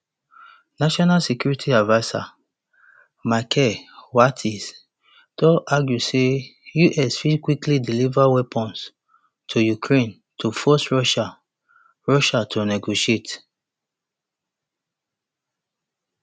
national security adviser michael waltz don argue say us fit quickly deliver weapons to ukraine to force russia russia to negotiate